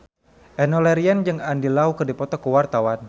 Enno Lerian jeung Andy Lau keur dipoto ku wartawan